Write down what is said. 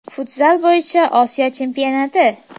Futzal bo‘yicha Osiyo chempionati.